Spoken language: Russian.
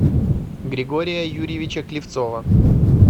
григория юрьевича клевцова